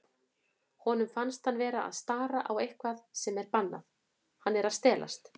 Honum finnst hann vera að stara á eitthvað sem er bannað, hann er að stelast.